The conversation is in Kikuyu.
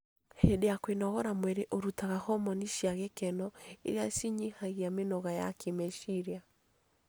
Hĩndĩ ya kwĩnogora mwĩrĩ ũrutaga homoni cia gĩkeno irĩa cinyihagia mĩnoga ya kĩmeciria